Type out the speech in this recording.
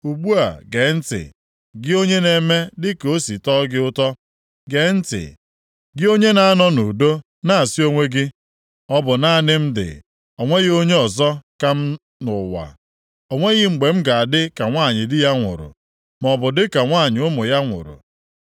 “Ugbu a gee ntị, gị onye na-eme dịka o si tọọ gị ụtọ. Gee ntị, gị onye na-anọ nʼudo, na-asị onwe gị, ‘Ọ bụ naanị m dị, o nweghị onye ọzọ ka m nʼụwa. O nweghị mgbe m ga-adị ka nwanyị di ya nwụrụ, maọbụ dịka nwanyị ụmụ ya nwụrụ.’